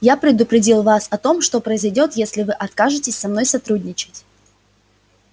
я предупредил вас о том что произойдёт если вы откажетесь со мной сотрудничать